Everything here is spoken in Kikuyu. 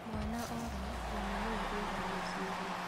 Mwana ora mami nĩwe ũragio ciũria